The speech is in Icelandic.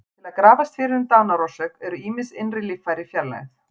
Til að grafast fyrir um dánarorsök eru ýmis innri líffæri fjarlægð.